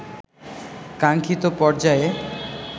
কাঙ্খিত পর্যায়ে